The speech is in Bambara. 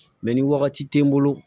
Mɛ ni wagati tɛ n bolo